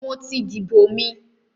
mo ti dìbò mi.